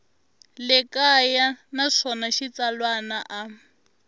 le kaya naswona xitsalwana a